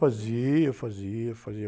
Fazia, fazia, fazia.